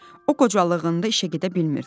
O qocalığında işə gedə bilmirdi.